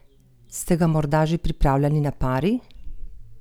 Ste ga morda že pripravljali na pari?